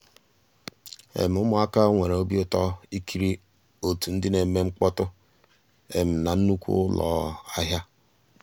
um ụmụ́àká nwèré òbí ụtọ́ ìkírí ótú ndị́ ná-èmè mkpọ́tụ́ ná nnùkwú ụ́lọ́ um àhịá.